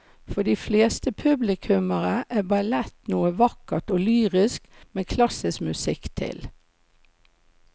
For de fleste publikummere er ballett noe vakkert og lyrisk med klassisk musikk til.